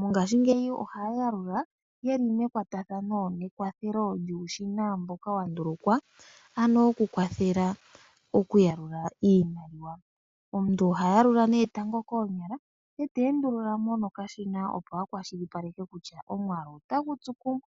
Mongashingeyi ohaya yalula yeli mekwatathano nekwathelo lyuushina mboka wandulukwa ano okukwathela okuyalula iimaliwa . Omuntu oha yalula tango koonyala ,ete endululamo nokashina opo akwashilipaleke kutya omwaalu otagu tsu kumwe.